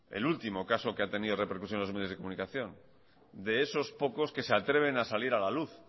el último caso que ha tenido en los medios de comunicación de esos pocos que se atreven a salir a la luz